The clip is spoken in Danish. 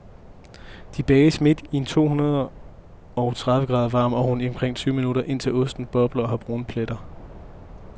De bages midt i en to hundrede tredive grader varm ovn i omkring tyve minutter, indtil osten bobler og har brune pletter.